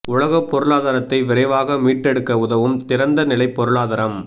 உலகப் பொருளாதாரத்தை விரைவாக மீட்டெடுக்க உதவும் திறந்த நிலைப் பொருளாதாரம்